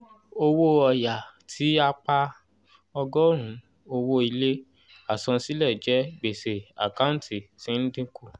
owó ọ̀ya tí a pa ọgọ́rùn-ún owó ilé àsansílẹ̀ jẹ gbèsè àkántì tí ń dínkù